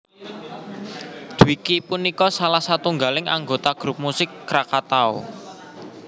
Dwiki punika salah satunggaling anggota grup musik Krakatau